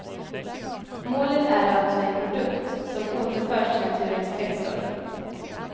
Målet är alltså en produkt som återförs till naturens kretslopp.